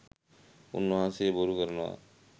උන්වහන්සේ බොරු කරනවා